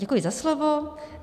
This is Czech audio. Děkuji za slovo.